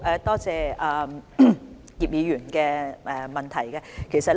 多謝葉議員的補充質詢。